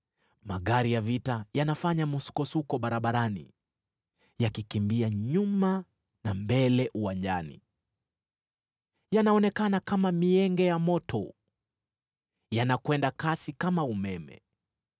Magari ya vita yanafanya msukosuko barabarani, yakikimbia nyuma na mbele uwanjani. Yanaonekana kama mienge ya moto; yanakwenda kasi kama umeme.